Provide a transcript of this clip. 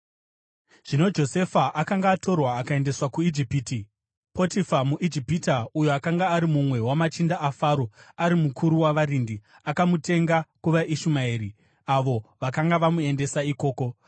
Zvino Josefa akanga atorwa akaendeswa kuIjipiti. Potifa muIjipita uyo akanga ari mumwe wamachinda aFaro ari mukuru wavarindi, akamutenga kuvaIshumaeri avo vakanga vamuendesa ikoko.